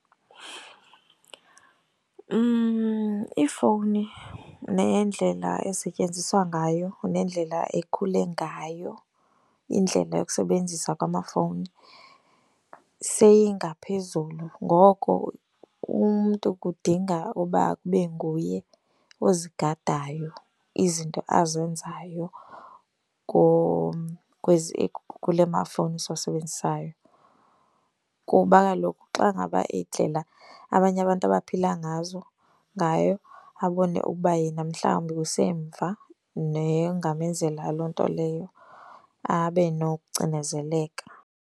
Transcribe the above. Iifowuni neendlela esetyenziswa ngayo, nendlela ekhule ngayo, indlela yokusebenzisa kwamafowuni seyingaphezulu. Ngoko umntu kudinga uba kube nguye ozigadayo izinto azenzayo kwezi kula mafowuni siwasebenzisayo. Kuba kaloku xa ngaba indlela abanye abantu abaphila ngazo ngayo abone ukuba yena mhlawumbi usemva nengamenzela loo nto leyo abe nokucinezeleka.